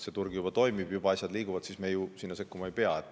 Kui turg juba toimib ja asjad liiguvad, siis me ju sinna sekkuma ei pea.